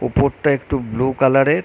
উপরটা একটু blue colour -এর--